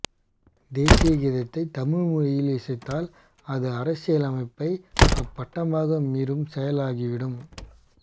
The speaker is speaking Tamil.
தேசிய கீதத்தை தமிழ் மொழியில் இசைத்தால் அது அரசியலமைப்பை அப்பட்டமாக மீறும் செயலாகிவிடும்